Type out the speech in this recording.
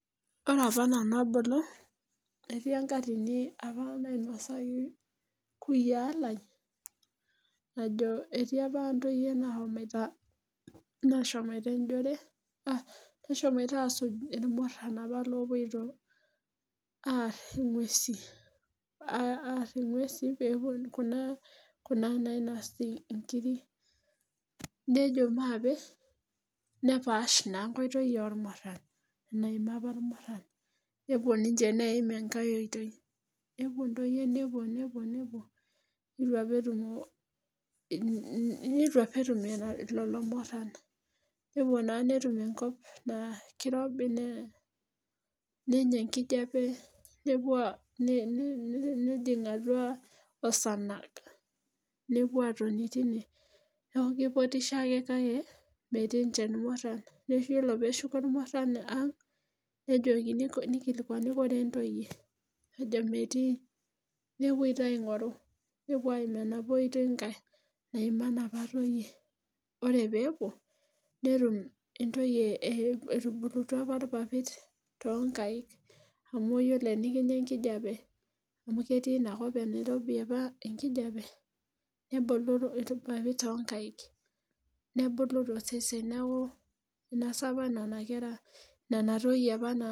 Ore apa nanu abulu etii enkatini apa nainosaki nkuyaa lai najo etii apa intoyie naashomoita nashomoita enjore nashomoita aasuj irmurran apa oopoito aarr ing'uesi aarr ing'uesi peepuo Kuna Kuna nainosi inkirik, nejo maape nepaash naa enkoitoi ormurran naima apa irmurran nepuo ninche neeim enkae oitoi, nepuo intoyie nepuo nepuo nepuo neitu apa etumo etum lelo murran nepuo naa netum enkop naa keirobi nenya enkijape nepuo nejing' atua osanag, nepuo aatonii teine neeku keipotisho akee kakee metii nche irmurran, iyolo peeshuko irmurran ang' nejokini neikilikuani koree intoyie nejo metii nepuoi taa aingoru, nepuo aiim enapaa oitoi nkae naima inapa toyie oree pee epuo netum intoyie etubulutua apa irpapit toonkek amu iyolo tenikinya enkijape ame ketii inakop enairobe apa enkijape neboloro irpapit toonkaek nebulu tosesen neakuu inasa apa nena kera nena toyie apa.